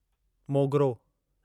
मोगिरो